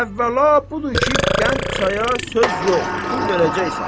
Əvvəla budur ki, qənd çaya söz yox, pul verəcəksən.